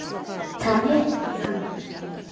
En það er ekki þannig.